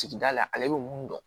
Sigida la ale bɛ mun dɔn